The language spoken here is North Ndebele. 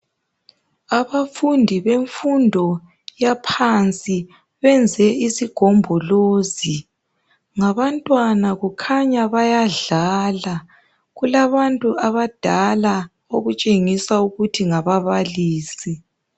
Abafundi bemfundo yaphansi benze izigombolozi ngabantwana kukhanya bayadlala , kulabantu abadala okutshengisa ukuthi ngababalisi